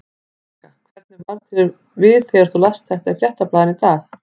Helga: Og hvernig varð þér við þegar þú last þetta í Fréttablaðinu í dag?